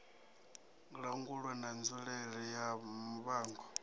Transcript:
langulwa na nzulele ya muvhango